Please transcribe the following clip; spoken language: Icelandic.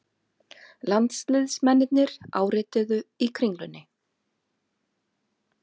Landsliðsmennirnir árituðu í Kringlunni